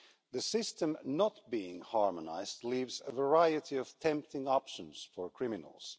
The system not being harmonised leaves a variety of tempting options for criminals.